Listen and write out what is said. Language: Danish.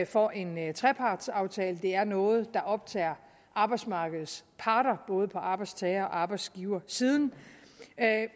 for en trepartsaftale det er noget der optager arbejdsmarkedets parter både på arbejdstager og arbejdsgiversiden